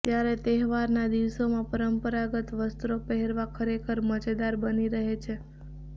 ત્યારે તહેવારના દિવસોમાં પરંપરાગત વસ્ત્રો પહેરવા ખરેખર મજેદાર બની રહે છે